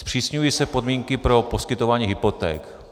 Zpřísňují se podmínky pro poskytování hypoték.